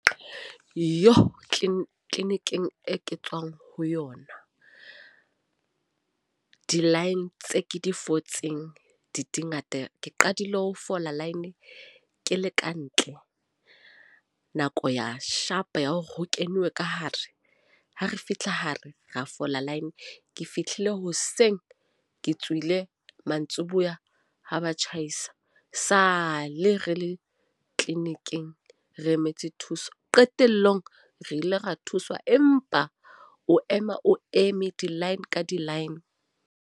Yoh clinic-ing e tswang ho yona. Di-line tse ke di fotseng, di di ngata. Ke qadile ho fola line ke le ka ntle nako ya shapa ya hore ho kenngwe ka hare. Ha re fitlha hare ra fola line. Ke fihlile hoseng, ke tswile mantsibuya ha ba tjhaisa. Sa le re le clinic-ing re emetse thuso. Qetellong re ile ra thuswa. Empa o ema o eme di-line ka di-line.